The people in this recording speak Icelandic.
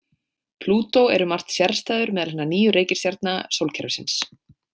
Plútó er um margt sérstæður meðal hinna níu reikistjarna sólkerfisins.